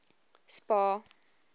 spar